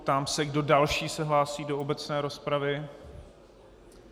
Ptám se, kdo další se hlásí do obecné rozpravy.